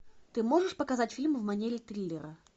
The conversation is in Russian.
ты можешь показать фильм в манере триллера